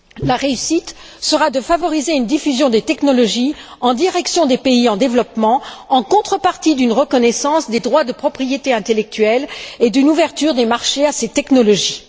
La réussite sera de favoriser une diffusion des technologies en direction des pays en développement, en contrepartie d'une reconnaissance des droits de propriété intellectuelle et d'une ouverture des marchés à ces technologies.